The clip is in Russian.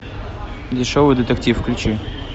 дешевый детектив включи